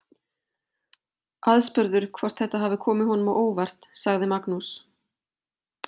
Aðspurður hvort þetta hafi komið honum á óvart sagði Magnús.